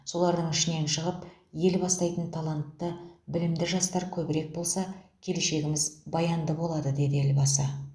солардың ішінен шығып ел бастайтын талантты білімді жастар көбірек болса келешегіміз баянды болады деді елбасы